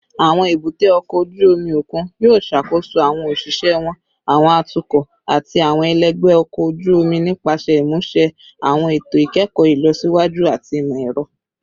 Awọn ebute oko oju omi okun yoo ṣakoso awọn oṣiṣẹ wọn, awọn atukọ, ati awọn ẹlẹgbẹ ọkọ oju-omi nipasẹ imuse awọn eto ikẹkọ ilọsiwaju ati imọ-ẹrọ